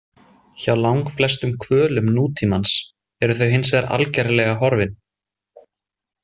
Hjá langflestum hvölum nútímans eru þau hinsvegar algerlega horfin.